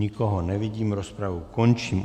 Nikoho nevidím, rozpravu končím.